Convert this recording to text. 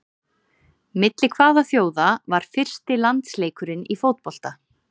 Milli hvaða þjóða var fyrsti landsleikurinn í fótbolta?